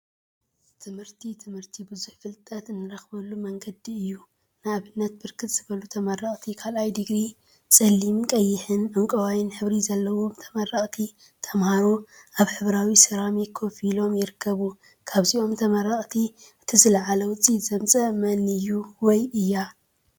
ትምህርቲ ትምህርቲ ብዙሕ ፍልጠት እንረክበሉ መንገዲ እዩ፡፡ ንአብንት ብርክት ዝበሉ ተመረቅቲ ካልአይ ዲግሪ ፀሊም፣ ቀይሕን ዕንቋይን ሕብሪ ዘለዎም ተመረቅቲ ተምሃሮ አብ ሕብራዊ ሰራሚክ ኮፍ ኢሎም ይርከቡ፡፡ ካብዞም ተመረቅቲ እቲ ዝለዓለ ውፅኢት ዘምፅአ መን እዩ/እያ?